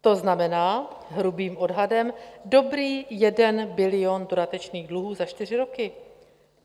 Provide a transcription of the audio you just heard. To znamená, hrubým odhadem, dobrý 1 bilion dodatečných dluhů za čtyři roky.